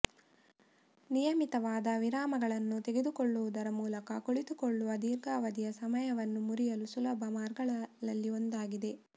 ನಿಯಮಿತವಾದ ವಿರಾಮಗಳನ್ನು ತೆಗೆದುಕೊಳ್ಳುವುದರ ಮೂಲಕ ಕುಳಿತುಕೊಳ್ಳುವ ದೀರ್ಘಾವಧಿಯ ಸಮಯವನ್ನು ಮುರಿಯಲು ಸುಲಭ ಮಾರ್ಗಗಳಲ್ಲಿ ಒಂದಾಗಿದೆ